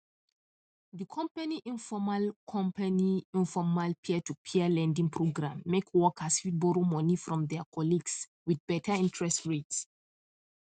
the company informal company informal peertopeer lending program make workers fit borrow money from their colleagues with better interest rate